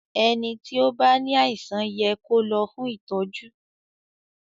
ẹní tí o bá ní àìsàn yẹ kò ló fún ìtọjú.